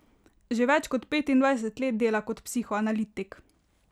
Že več kot petindvajset let dela kot psihoanalitik.